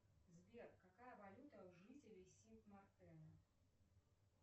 сбер какая валюта у жителей сип мартена